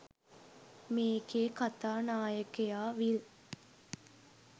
මේකෙ කතානායකයා විල්